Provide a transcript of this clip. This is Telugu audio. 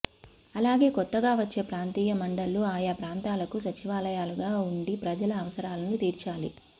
అలాగే కొత్తగా వచ్చే ప్రాంతీయ మండళ్లు ఆయా ప్రాంతాలకు సచివాలయాలుగా ఉండి ప్రజల అవసరాలను తీర్చాలి